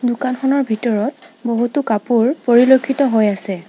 দোকানখনৰ ভিতৰত বহুতো কাপোৰ পৰিলক্ষিত হৈ আছে।